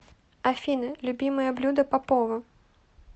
афина любимое блюдо попова